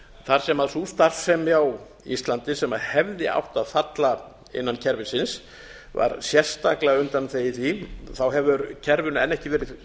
þar sem sú starfsemi á íslandi sem hefði átt að falla innan kerfisins var sérstaklega undanþegið því hefur kerfinu enn ekki verið